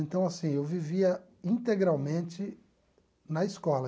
Então, assim, eu vivia integralmente na escola.